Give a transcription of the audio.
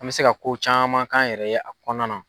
An bɛ se ka ko caman k'an yɛrɛ ye a kɔnɔna na.